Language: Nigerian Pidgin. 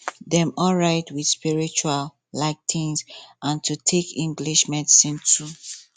dem alright with spritual um things and to take english medicine too